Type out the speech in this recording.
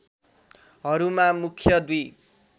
हरूमा मुख्य दुई